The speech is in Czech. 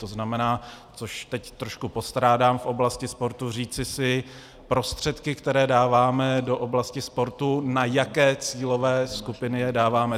To znamená - což teď trošku postrádám v oblasti sportu - říci si, prostředky, které dáváme do oblasti sportu, na jaké cílové skupiny je dáváme.